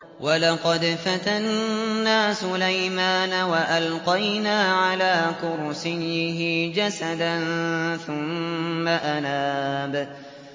وَلَقَدْ فَتَنَّا سُلَيْمَانَ وَأَلْقَيْنَا عَلَىٰ كُرْسِيِّهِ جَسَدًا ثُمَّ أَنَابَ